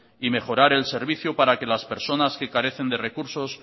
y mejorar el servicio para que las personas que carecen de recursos